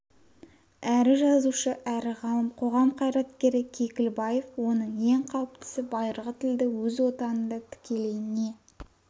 әрі жазушы әрі ғалым қоғам қайраткері кекілбаев оның ең қауіптісі байырғы тілді өз отанында тікелей не